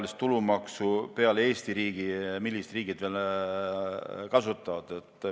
Mis riigid peale Eesti veel ühetaolist tulumaksu kasutavad?